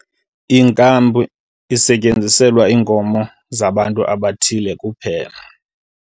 Ikampi isetyenziselwa iinkomo zabantu abathile kuphela.